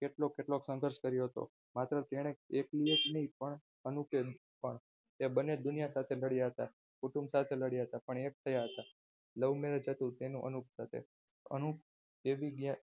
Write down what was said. કેટલો કેટલો સંઘર્ષ કર્યો હતો? માત્ર તેણે એકની એક નહીં પણ અનુપે પણ બંને દુનિયા સામે લડ્યા હતા કુટુંબ સાથે લડ્યા હતા પણ તે એક થયા હતા. love merrage હતું તેનું સાથે અનુપજીવી